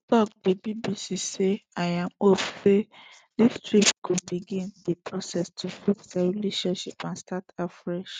tok di bbc say im hope say dis trip go begin di process to fix dia relationship and start afresh